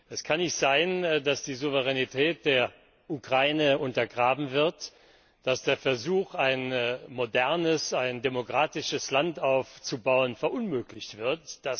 Es kann nicht sein, dass die Souveränität der Ukraine untergraben wird, dass der Versuch, ein modernes demokratisches Land aufzubauen, verunmöglicht wird.